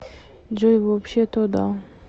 джой вообще то да